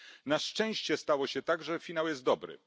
Na szczęście stało się tak, że finał jest dobry.